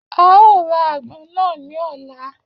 A ó ra àgbọn náà ní ọ̀la